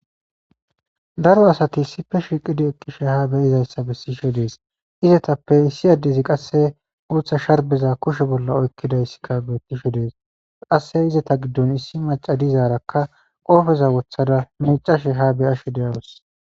daro asati issippe shiiqidi eqqishe ha beyizayssa bessishe dees izetappe issi addezi qasse guutha sharbeza kushe bolla oykkidayssikka beettishe dees qasse izeta giddon issi macadizaarakka qoofeza wothada micashe ha beyashe deyawus